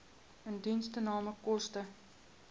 indiensname koste